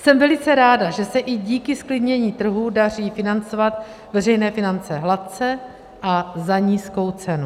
Jsem velice ráda, že se i díky zklidnění trhů daří financovat veřejné finance hladce a za nízkou cenu.